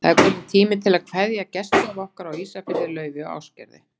Það er kominn tími til að kveðja gestgjafa okkar á Ísafirði, Laufeyju og Ásgerði.